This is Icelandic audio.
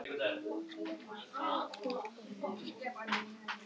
Láttu ekki svona. þú veist hvað ég meina.